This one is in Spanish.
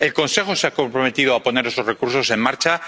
El Consejo se ha comprometido a poner esos recursos en marcha.